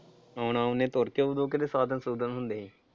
ਆਉਣਾ ਉਹਨੇ ਤੁਰਕੇ ਓਦੋਂ ਕਿਤੇ ਸਾਧਨ ਸੂਦਨ ਹੁੰਦੇ ਸੀ।